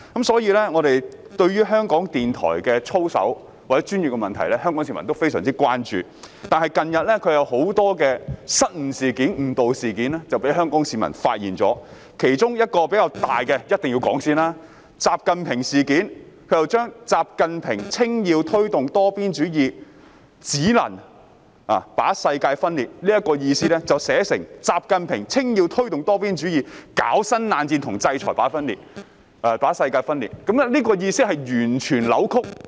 所以，對於香港電台的操守及專業問題，香港市民均十分關注，而近日香港市民便發現它出現了很多失誤和誤導事件，其中一宗比較大的事件必須先說，就是"習近平事件"，他們把"習近平稱要推動多邊主義，搞新冷戰和制裁只能把世界分裂"的意思，寫成"習近平稱要推動多邊主義，搞新冷戰和制裁把世界分裂"，當中的意思完全扭曲。